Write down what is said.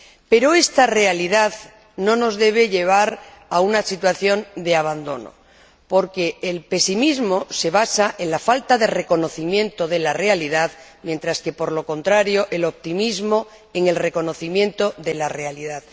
Pero esta realidad no nos debe llevar a una situación de abandono, porque el pesimismo se basa en la falta de reconocimiento de la realidad, mientras que, por lo contrario, el optimismo se basa en el reconocimiento de la realidad.